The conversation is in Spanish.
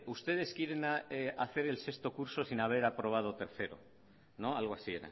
ustedes quieren hacer el sexto curso sin haber aprobado tercero no algo así